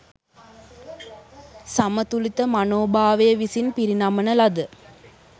සමතුලිත මනෝභාවය විසින් පිරිනමන ලද